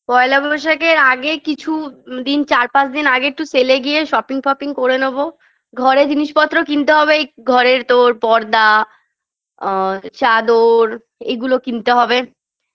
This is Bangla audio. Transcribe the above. পয়লা বৈশাখের আগে কিছু দিন চার পাঁচ দিন আগে একটু sale -এ গিয়ে shopping ফপিং করে নেব ঘরে জিনিসপত্র কিনতে হবে এই ঘরের তোর পর্দা আ চাদর এগুলো কিনতে হবে